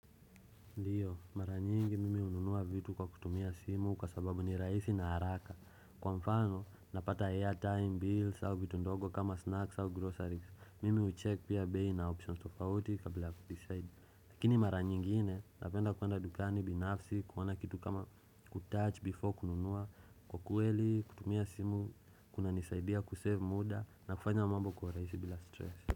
Ndiyo, mara nyingi mimi hununua vitu kwa kutumia simu kwa sababu ni rahisi na haraka. Kwa mfano, napata airtime bills au vitu ndogo kama snacks au groceries. Mimi hucheck pia bayi na options tofauti kabila kudeside. Lakini maranyingine, napenda kuwenda dukani binafsi, kuona kitu kama kutouch before kununua. Kwa ukweli, kutumia simu, kuna nisaidia kusave muda na kufanya mambo kuwa urahisi bila stress.